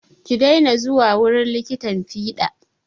Ki dena zuwa wurin likitan fiɗan!